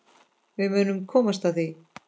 Við munum komast að því.